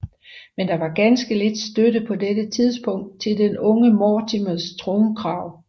Men der var ganske lidt støtte på dette tidspunkt til den unge Mortimers tronkrav